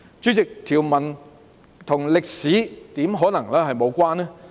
主席，條文怎可能與歷史無關？